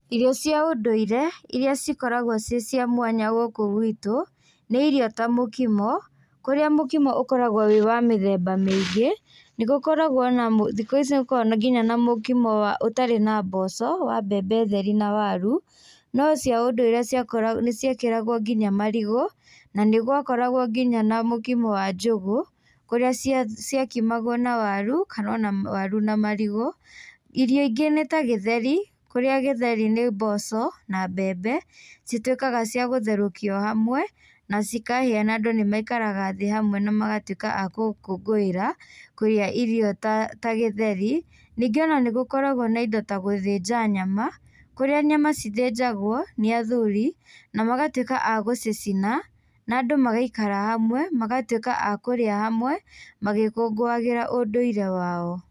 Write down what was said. Irio cia ũndũire iria cikoragwo ciĩ cia mwanya gũkũ gwitũ, nĩ irio ta mũkimo kũrĩa mũkimo ũkoragwo wĩ wa mĩthemba mĩingi, nĩgũkoragwo na mũ thikũ ici nĩgũkoragwo nginya na mũkimo wa ũtarĩ na mboco wa mbembe theri na waru nocia ũndũire ciakora nĩciekĩragwo nginya marigũ nanĩgwakoragwo nginya na mũkimo wa njũgũ kũrĩa ciakimagwo na waru kana ona waru na marigũ, irio ingĩ nĩta gĩtheri kũrĩa gĩtheri nĩ mboco na mbebe citwĩkaga cia gũtherũkio hamwe nacikahĩa na andũ nĩmaikaraga thĩĩ hamwe na magatwíka a kũkũngũĩra kũrĩa irio ta ta gĩtheri ningĩ ona nĩgũkoragwo na indo ta gúthĩnja nyama kũrĩa nyama cithĩnjagwo nĩ athuri na magatwĩka a gũcicina na andũ magaikara hamwe magatwĩka a kũrĩa hamwe magĩkũngũagĩra ũndũire wao.